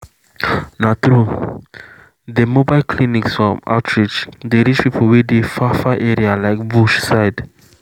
na true dem mobile clinics from outreach dey reach people wey dey for far far area like bush side